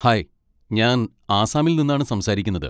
Hi! ഞാൻ ആസാമിൽ നിന്നാണ് സംസാരിക്കുന്നത്.